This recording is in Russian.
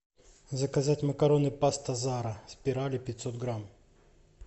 заказать макароны паста зара спирали пятьсот грамм